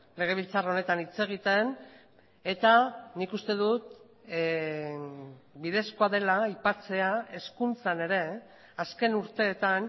legebiltzar honetan hitz egiten eta nik uste dut bidezkoa dela aipatzea hezkuntzan ere azken urteetan